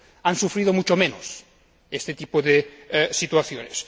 han sufrido mucho menos este tipo de situaciones.